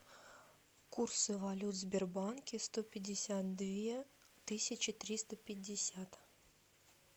курсы валют в сбербанке сто пятьдесят две тысячи триста пятьдесят